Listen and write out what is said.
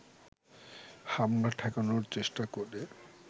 হামলা ঠেকানোর চেষ্টা করে